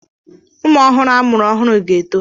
Ụmụ ọhụrụ amụrụ ọhụrụ ga-eto.